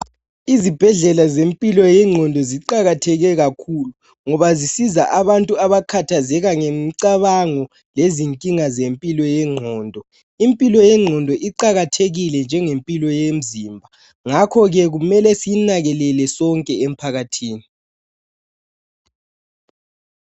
Izibhedlela zempilo yengqondo ziqakatheke kakhulu, ngoba zisiza abantu abakhathazeka ngemicabango lezinkinga zempilo yengqondo. Impilo yengqondo iqakathekile njengempilo yemzimba, ngakho ke kumele siyinakelele sonke emphakathini.